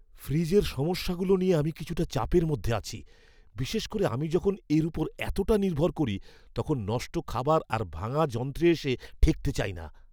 ফ্রিজের সমস্যাগুলো নিয়ে আমি কিছুটা চাপের মধ্যে আছি; বিশেষ করে আমি যখন এর ওপর এতোটা নির্ভর করি তখন নষ্ট খাবার আর ভাঙা যন্ত্রে এসে ঠেকতে চাই না!